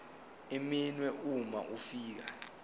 iminwe uma ufika